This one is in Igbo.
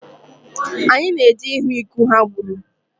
Anyị na-eje ahụ ịgụ ha gbụrụ.